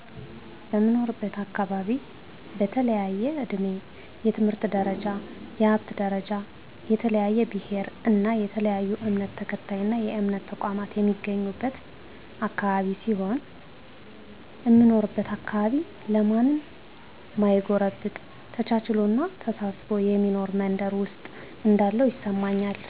በምኖርበት አካባቢ በተለያየ እድሜ፣ የትምህርት ደረጃ፣ የሀብት ደረጃ፣ የተለያየ ብሔር እና የተለያየ እምነት ተከታይና የእምነት ተቋማት የሚገኝበት አካባቢ ሲሆን፣ እምኖርበት አካባቢ ለማንም ማይጎረብጥ ተቻችሎና ተሳስቦ የሚኖር መንደር ውስጥ እንዳለሁ ይሰማኛል።